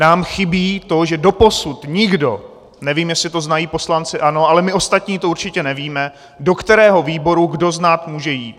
Nám chybí to, že doposud nikdo, nevím, jestli to znají poslanci ANO, ale my ostatní to určitě nevíme, do kterého výboru kdo z nás může jít.